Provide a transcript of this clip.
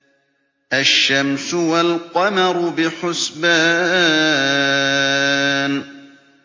الشَّمْسُ وَالْقَمَرُ بِحُسْبَانٍ